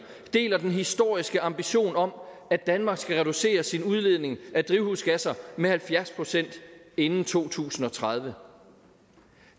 deler den historiske ambition om at danmark skal reducere sin udledning af drivhusgasser med halvfjerds procent inden to tusind og tredive